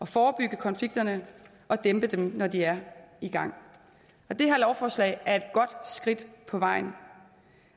forebygge konflikterne og dæmpe dem når de er i gang det her lovforslag er et godt skridt på vejen